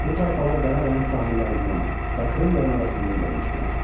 Bu tayfalar Qara dəniz sahillərindən və Krım yarımadasından gəlmişdilər.